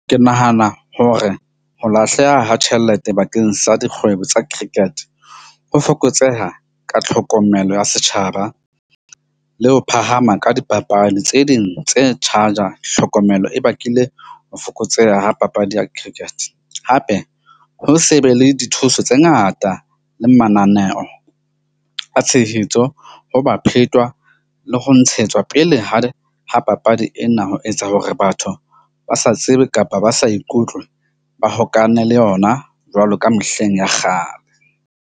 Ke nahana hore ho lahleha ha tjhelete bakeng sa dikgwebo tsa cricket ho fokotseha ka tlhokomelo ya setjhaba le ho phahama ka dipapadi tse ding tse charger-a tlhokomelo e bakile ho fokotseha ha papadi ya cricket. Hape, ho se be le dithuso tse ngata le mananeo a tshehetso ho ba phetwa le ho ntshetswa pele ha papadi ena, ho etsa hore batho ba sa tsebe, kapa ba sa ikutlwe ba hokane le yona jwalo ka mehleng ya kgale.